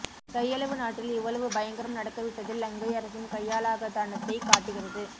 கையளவு நாட்டில் இவ்வளவு பயங்கரம் நடக்க விட்டது லங்கை அரசின் கையாலாகாதனத்தை காட்டுகிறது